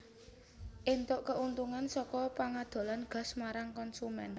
éntuk keuntungan saka pangadolan gas marang konsumen